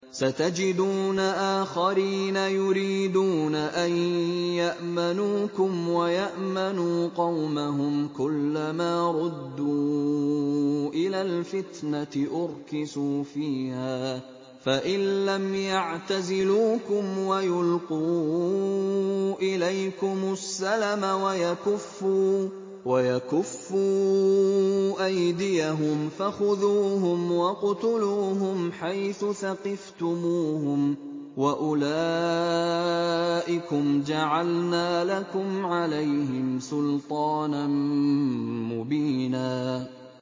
سَتَجِدُونَ آخَرِينَ يُرِيدُونَ أَن يَأْمَنُوكُمْ وَيَأْمَنُوا قَوْمَهُمْ كُلَّ مَا رُدُّوا إِلَى الْفِتْنَةِ أُرْكِسُوا فِيهَا ۚ فَإِن لَّمْ يَعْتَزِلُوكُمْ وَيُلْقُوا إِلَيْكُمُ السَّلَمَ وَيَكُفُّوا أَيْدِيَهُمْ فَخُذُوهُمْ وَاقْتُلُوهُمْ حَيْثُ ثَقِفْتُمُوهُمْ ۚ وَأُولَٰئِكُمْ جَعَلْنَا لَكُمْ عَلَيْهِمْ سُلْطَانًا مُّبِينًا